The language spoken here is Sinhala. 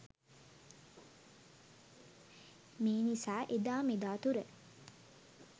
මේ නිසා එදා මෙදා තුර